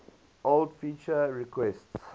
old feature requests